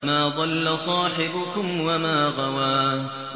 مَا ضَلَّ صَاحِبُكُمْ وَمَا غَوَىٰ